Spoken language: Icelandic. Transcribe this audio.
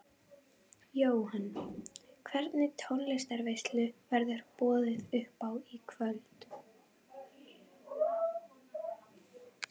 Jóhann: Hvernig tónlistarveislu verður boðið upp á í kvöld?